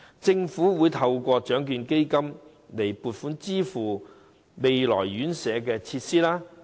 政府會透過獎券基金撥款支付未來院舍的設施開支。